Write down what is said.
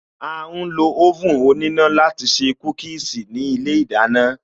A ń lo oven òníná láti se Kúkíīsī ní ilé ìdáná